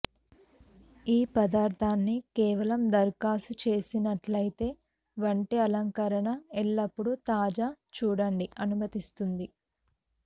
ఈ పదార్ధాన్ని కేవలం దరఖాస్తు చేసినట్లయితే వంటి అలంకరణ ఎల్లప్పుడూ తాజా చూడండి అనుమతిస్తుంది